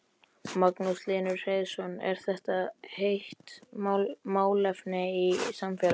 Magnús Hlynur Hreiðarsson: Er þetta heitt málefni í samfélaginu?